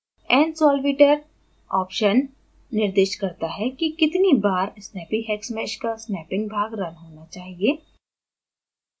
nsolveiter option निर्दिष्ट करता है कि कितनी बार snappyhexmesh का snapping भाग रन होना चाहिए